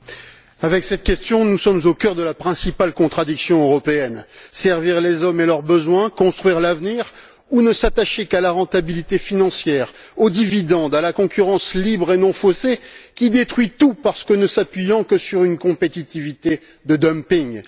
Monsieur le Président, avec cette question nous sommes au cœur de la principale contradiction européenne servir les hommes et leurs besoins et construire l'avenir, ou ne s'attacher qu'à la rentabilité financière, aux dividendes, à la concurrence libre et non faussée, qui détruit tout en ne s'appuyant que sur une compétitivité de dumping?